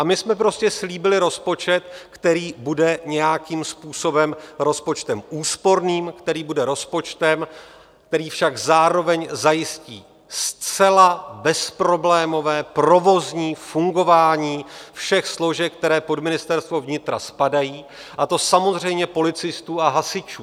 A my jsme prostě slíbili rozpočet, který bude nějakým způsobem rozpočtem úsporným, který bude rozpočtem, který však zároveň zajistí zcela bezproblémové provozní fungování všech složek, které pod Ministerstvo vnitra spadají, a to samozřejmě policistů a hasičů.